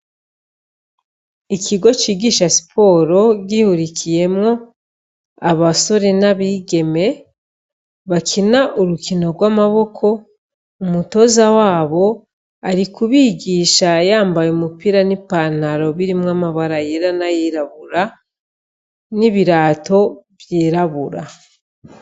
Ikigo cigisha siporo gihurikiyemwo abasore n'abigeme bakina umukino w'amaboko, umutoza wabo ari kubigisha yambaye umupira n'ipantaro birimwo amabara yera nayirabura, n'ibirato vyirabura.